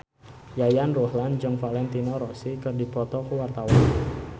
Yayan Ruhlan jeung Valentino Rossi keur dipoto ku wartawan